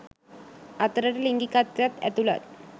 අතරට ලිංගිකත්වයත් ඇතුලත්.